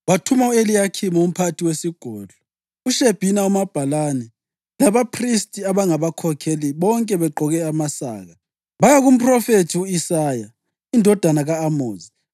Wathuma u-Eliyakhimu umphathi wesigodlo, uShebhina umabhalane labaphristi abangabakhokheli, bonke begqoke amasaka, baya kumphrofethi u-Isaya indodana ka-Amozi.